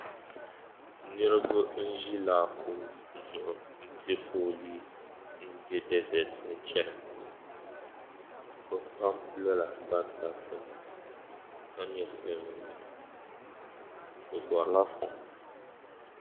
Niriba n ʒi laakum zuɣu m pe fooli m be dezet ni n chana bɛ pam lɔla bantabti ka nyɛ silimiinsi bɛ gɔrila fɔŋ